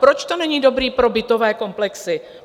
Proč to není dobré pro bytové komplexy?